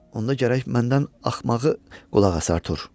Onda gərək məndən axmağı qulasan, Artur.